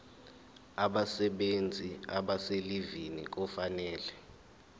abasebenzi abaselivini kufanele